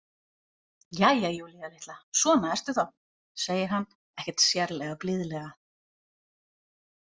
Jæja, Júlía litla, svona ertu þá, segir hann, ekkert sérlega blíðlega.